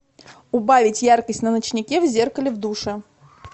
убавить яркость на ночнике в зеркале в душе